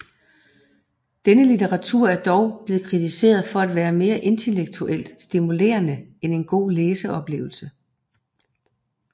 Denne litteratur er dog blevet kritiseret for at være mere intellektuelt stimulerende end en god læseoplevelse